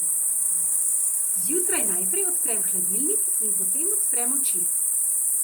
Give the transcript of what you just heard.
Zjutraj najprej odprem hladilnik in potem odprem oči.